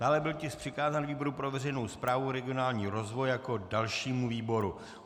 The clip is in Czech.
Dále byl tisk přikázán výboru pro veřejnou správu, regionální rozvoj jako dalšímu výboru.